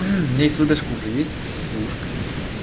у меня эсведешка уже есть сушка